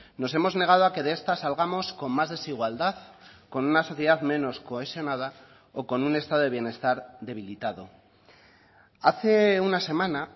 nos hemos negado a que de estas salgamos con más desigualdad con una sociedad menos cohesionada o con un estado de bienestar debilitado hace una semana